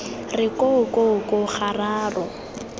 re ko ko ko gararo